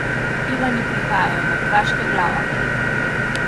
Ivani prihajajo, Mrtvaška glava!